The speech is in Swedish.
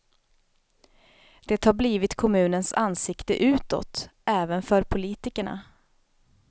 Det har blivit kommunens ansikte utåt, även för politikerna.